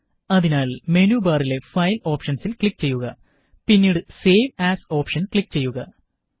അതിനാല് മെനുബാറിലെ ഫയല് ഓപ്ഷനില് ക്ലിക് ചെയ്യുക പിന്നീട് സേവ് ആസ് ഓപ്ഷന് ക്ലിക് ചെയ്യുക